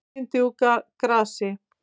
Sætindi úr grasi